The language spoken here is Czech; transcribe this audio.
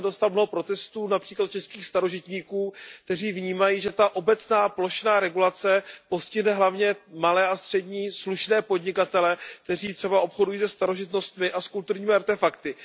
Já jsem dostal mnoho protestů například od českých starožitníků, kteří vnímají, že ta obecná, plošná regulace postihne hlavně malé a střední slušné podnikatele, kteří třeba obchodují se starožitnostmi a kulturními artefakty.